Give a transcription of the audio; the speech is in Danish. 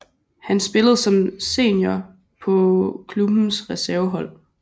Han spillede som senior på klubbens reservehold